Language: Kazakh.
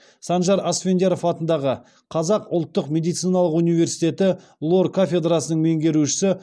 санжар асфендияров атындағы қазақ ұлттық медициналық университеті лор кафедрасының меңгерушісі